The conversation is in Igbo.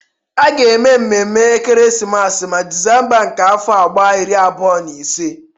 A ga-eme mmemme ekeresimesi ma Disemba nke afọ a gbaa iri abụọ na ise.